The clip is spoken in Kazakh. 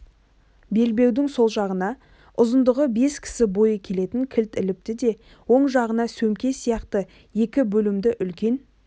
белбеудің сол жағына ұзындығы бес кісі бойы келетін қылыш іліпті де оң жағына сөмке сияқты екі бөлімді үлкен